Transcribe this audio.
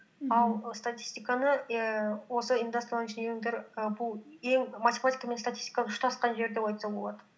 ал і статистиканы ііі осы индастриал инжинирингтер і бұл ең матемитика мен статистиканың ұштасқан жері деп айтса болады